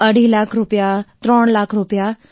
અઢી લાખ રૂપિયા ત્રણ લાખ રૂપિયા